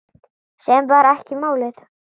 Sem var ekki málið.